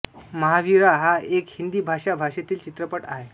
महावीरा हा एक हिंदी भाषा भाषेतील चित्रपट आहे